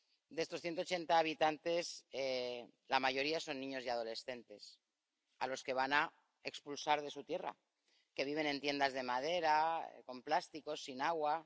De estos 180 habitantes, la mayoría son niños y adolescentes a los que van a expulsar de su tierra, que viven en tiendas de madera, con plásticos, sin agua...